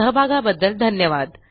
सहभागाबद्दल धन्यवाद